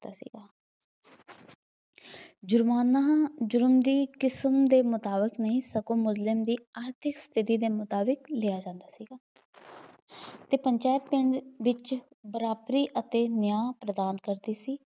ਜ਼ੁਰਮਾਨਾ ਜ਼ੁਰਮ ਦੀ ਕਿਸਮ ਦੇ ਮੁਤਾਬਿਕ ਨਹੀਂ ਸਗੋਂ ਮੁਜ਼ਲਿਮ ਦੀ ਆਰਥਿਕ ਸਥਿਤੀ ਦੇ ਮੁਤਾਬਿਕ ਲਿਆ ਜਾਂਦਾ ਸੀਗਾ। ਅਤੇ ਪੰਚਾਇਤ ਪਿੰਡ ਵਿੱਚ ਬਰਾਬਰੀ ਅਤੇ ਨਿਆਂ ਪ੍ਰਦਾਨ ਕਰਦੀ ਸੀ।